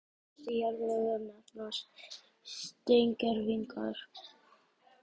Leifar dýra og plantna, sem finnast í jarðlögum, nefnast steingervingar.